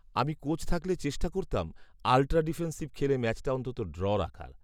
আমি কোচ থাকলে চেষ্টা করতাম, আলট্রা ডিফেন্সিভ খেলে ম্যাচটা অন্তত ড্র রাখার